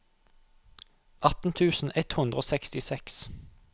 atten tusen ett hundre og sekstiseks